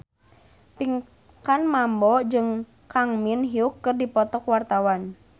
Pinkan Mambo jeung Kang Min Hyuk keur dipoto ku wartawan